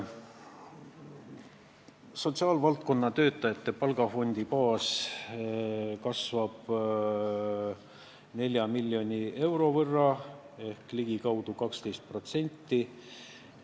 Sotsiaalvaldkonna töötajate palgafondi baas kasvab 4 miljoni euro võrra ehk ligikaudu 12%.